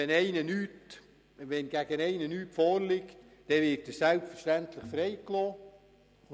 Liegt gegen jemanden nichts vor, wird er selbstverständlich freigelassen.